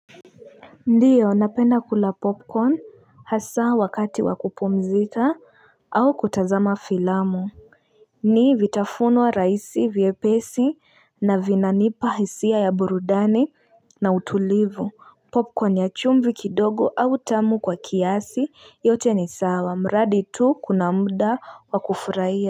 Ndio napenda kula popcorn hasa wakati wa kupumzika au kutazama filamu ni vitafunwa raisi vye lpesi na vinanipa hisia ya burudani na utulivu popcorn ya chumbi kidogo au tamu kwa kiasi yote ni sawa mradi tu kuna muda wakufuraia.